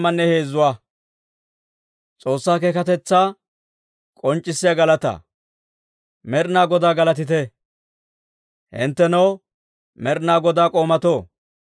Med'inaa Godaa galatite! Hinttenoo Med'inaa Godaa k'oomatoo, Med'inaa Godaa suntsaa galatite!